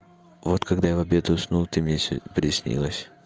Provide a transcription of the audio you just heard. вот когда я в обед уснул ты мне сегодня приснилась